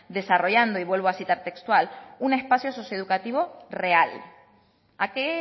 desarrollando y vuelvo a citar textual un espacio socioeducativo real a qué